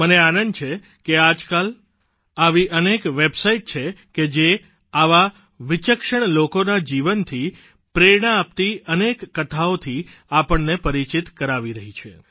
મને આનંદ છે કે આજકાલ આવી અનેક વેબસાઇટ છે કે જે આવા વિચક્ષણ લોકોના જીવનથી પ્રેરણા આપતી અનેક કથાઓથી આપણને પરિચિત કરાવી રહી છે